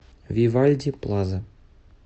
вивальди плаза